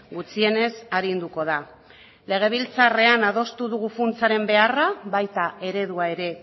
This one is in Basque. gutxienez arinduko da legebiltzarrean adostu dugu funtsaren beharra baita eredua ere